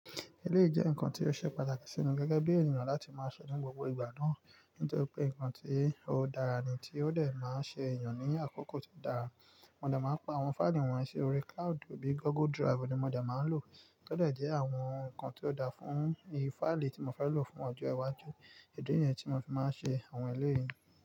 Eléyi jẹ́ nǹkan tí ó ṣe pàtàkì sími gẹ́gẹ́ bí ènìyàn láti máa se ni gbogbo ìgbà náà. Nítorí pé nǹkan tí ó dára ni tí ó dẹ̀ máa ń ṣe ènìyàn ní àkókò tí ó dára. Mo máa ń pa àwọn fáìlì wọn yii ṣi òri cloud bíi Google Drive ni mo dẹ̀ máa ń lò. Todẹ̀ jẹ́ àwọn nǹkan tí ó dáa fún ìfáìlì tí mo fẹ́ lò fún ọjọ́ iwájú. Idi niyẹn tí mo fi máa ń ṣe àwọn elé yi.